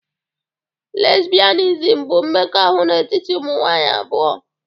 Lesbianism bụ mmekọahụ n'etiti ụmụ nwanyị abụọ